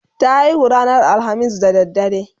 ta haihu ranar alhamis da dare